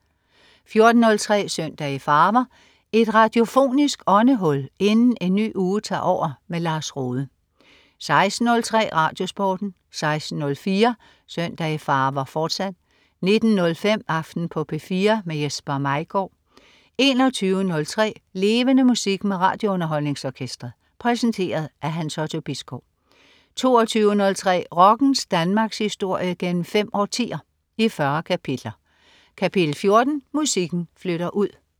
14.03 Søndag i farver. Et radiofonisk åndehul inden en ny uge tager over. Lars Rohde 16.03 RadioSporten 16.04 Søndag i farver, fortsat 19.05 Aften på P4. Jesper Maigaard 21.03 Levende Musik. Med RadioUnderholdningsOrkestret. Præsenteret af Hans Otto Bisgaard 22.03 Rockens Danmarkshistorie gennem fem årtier, i 40 kapitler. Kapitel 14: Musikken flytter ud